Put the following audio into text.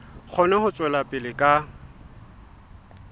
kgone ho tswela pele ka